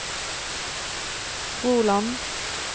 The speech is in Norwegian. Froland